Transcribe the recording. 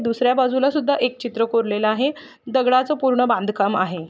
दुसऱ्या बाजूला सुद्धा एक चित्र कोरलेल आहे. दगड़ाच पूर्ण बांध कम आहे.